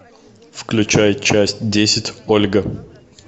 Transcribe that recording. включай часть десять ольга